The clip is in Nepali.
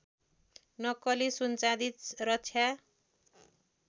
नक्कली सुनचाँदी रक्षा